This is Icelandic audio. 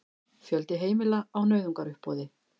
Fjöldi heimila á nauðungaruppboði